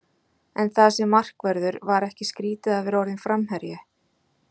En það sem markvörður, var ekki skrítið að vera orðinn framherji?